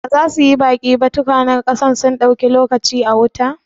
Ba za su yi baki ba? tukwanen ƙasar sun dauki lokaci a wuta.